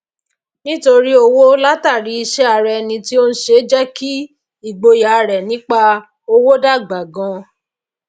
níní owó látàrí iṣé ara eni tí o n se jé kí igboyà rẹ nípa owó dàgbà ganan